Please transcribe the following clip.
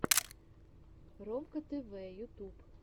ромка тэвэ ютюб